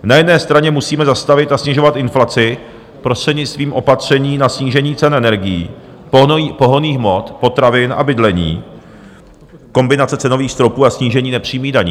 Na jedné straně musíme zastavit a snižovat inflaci prostřednictvím opatření na snížení cen energií, pohonných hmot, potravin a bydlení, kombinace cenových stropů a snížení nepřímých daní.